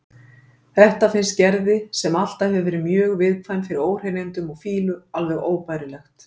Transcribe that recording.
Þetta finnst Gerði, sem alltaf hefur verið mjög viðkvæm fyrir óhreinindum og fýlu, alveg óbærilegt.